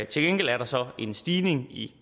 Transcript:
til gengæld er der så en stigning i